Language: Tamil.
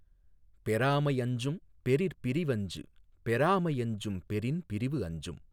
பெறாஅமை யஞ்சும் பெறிற்பிரி வஞ்சு பெறாஅமை அஞ்சும் பெறின் பிரிவு அஞ்சும்